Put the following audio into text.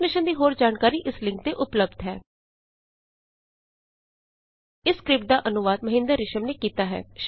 ਇਸ ਮਿਸ਼ਨ ਦੀ ਹੋਰ ਜਾਣਕਾਰੀ ਇਸ ਲਿੰਕ ਤੇ ਉਪਲੱਭਦ ਹੈ httpspoken tutorialorgNMEICT Intro ਇਸ ਸਕਰਿਪਟ ਦਾ ਅਨੁਵਾਦ ਮਹਿੰਦਰ ਰਿਸ਼ਮ ਨੇ ਕੀਤਾ ਹੈ